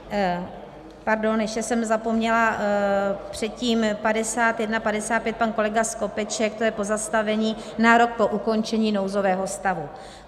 Pardon, ještě jsem zapomněla předtím 5155, pan kolega Skopeček - to je pozastavení na rok po ukončení nouzového stavu.